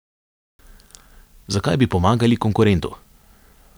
Zakaj bi pomagali konkurentu?